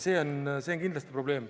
See on kindlasti probleem.